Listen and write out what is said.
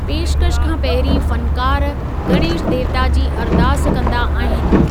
पेशकशि खां पहिरीं फनकार गणेश देवता जी अरदास कंदा आहिनि।